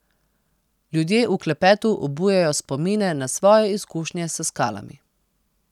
Ljudje v klepetu obujajo spomine na svoje izkušnje s skalami.